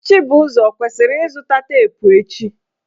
Chibuzo ọ kwesiri izụta teepụ echi?